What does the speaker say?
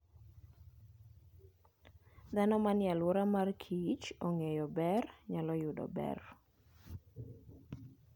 Dhano manie alwora mar Kich ongeyo ber nyalo yudo ber.